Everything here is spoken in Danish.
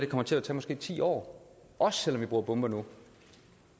kommer til at tage ti år også selv om vi bruger bomber nu